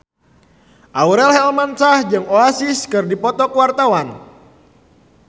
Aurel Hermansyah jeung Oasis keur dipoto ku wartawan